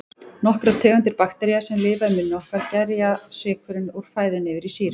Nokkrar tegundir baktería, sem lifa í munni okkar, gerja sykurinn úr fæðunni yfir í sýru.